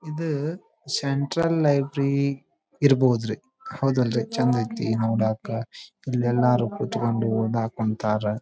ಇದು central library ಇರ್ಬೋದ್ ರೀ ಹೌದಲ್ರಿ ಚಂದ ಐತಿ ನೋಡಾಕ ಇಲ್ ಎಲ್ಲಾರು ಕುತ್ಕೊಂಡು ಓದಕ್ ಕುಂತಾರ